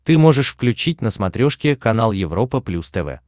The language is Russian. ты можешь включить на смотрешке канал европа плюс тв